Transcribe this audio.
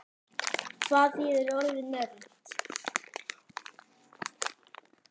Hvað þýðir orðið nörd?